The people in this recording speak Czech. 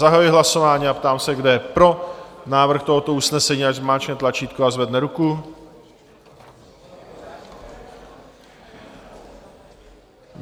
Zahajuji hlasování a ptám se, kdo je pro návrh tohoto usnesení, ať zmáčkne tlačítko a zvedne ruku.